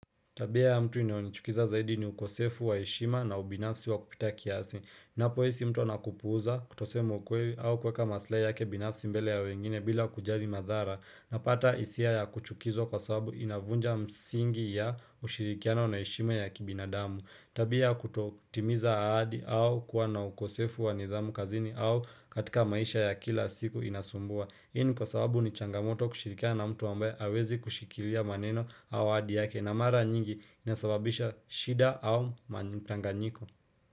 Tabia ya mtu inayonichukiza zaidi ni ukosefu wa heshima na ubinafsi wa kupita kiasi. Ninapohisi mtu anakupuuza kutosema ukweli au kuweka maslahi yake binafsi mbele ya wengine bila kujali madhara. Napata hisia ya kuchukizwa kwa sababu inavunja msingi ya ushirikiano na heshima ya kibinadamu. Tabia ya kutotimiza ahadi au kuwa na ukosefu wa nidhamu kazini au katika maisha ya kila siku inasumbua. Hii nibkwa sababu ni changamoto kushirikiana na mtu ambaye hawezi kushikilia maneno au ahadi yake na mara nyingi inasababisha shida au mchanganyiko.